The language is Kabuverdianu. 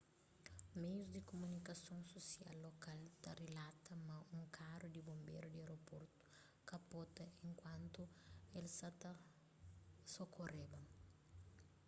meius di kumunikason susial lokal ta rilata ma un karu di bonberu di aeroportu kapota enkuantu el sa ta sokoreba